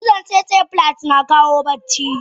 Cizon tsetse fly na kawo bacci?